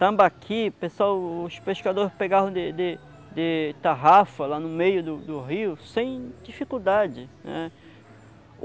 Tambaqui, pessoal, os pescadores pegaram de de de tarrafa lá no meio do do rio, sem dificuldade, né.